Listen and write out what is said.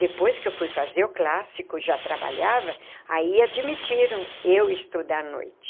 Depois que eu fui fazer o clássico, já trabalhava, aí admitiram eu estudar à noite.